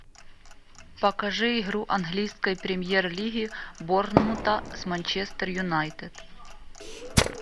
покажи игру английской премьер лиги борнмута с манчестер юнайтед